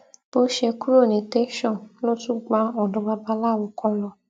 bó ṣe kúrò ní tẹsán ló tún gba ọdọ babaláwo kan lọ